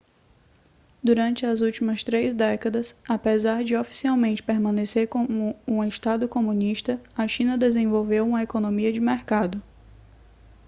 durante as últimas três décadas apesar de oficialmente permanecer como um estado comunista a china desenvolveu uma economia de mercado